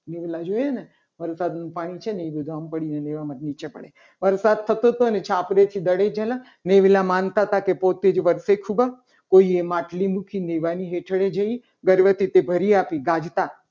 જોઈએ ને વરસાદનું પાણી છે. ને એ બધું આમ પડી ગયું. દેવામાંથી નીચે પડે વરસાદ થતો તો અને છાપરેથી દડી જલ ન નેવલા માનતાતા કે પોતે જ વર્ષે ખૂબ કોઈએ માટલી મૂકી દેવાની હેઠળ જઈ દરિયા પે ભર્યાપી તે ગાજતા.